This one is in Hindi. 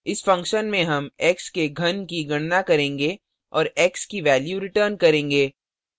इस function में हम x के in की गणना करेंगे और x की value return करेंगे